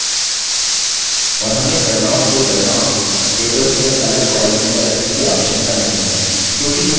और हमें गणनाओं के परिणाम tables में अलग columns में रखने की आवश्यकता नहीं है